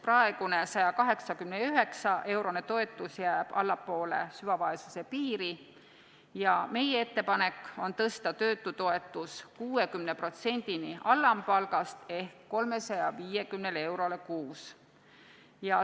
Praegune 189-eurone toetus jääb allapoole süvavaesuse piiri ja meie ettepanek on tõsta töötutoetus 60%-ni alampalgast ehk 350 eurole kuus.